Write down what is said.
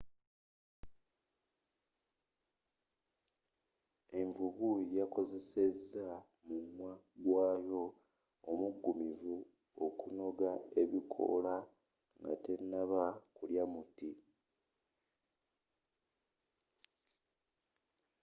envubu yakozeseza mumwagwayo omuggumivu okunoga ebikoola nga tenaba kulya muti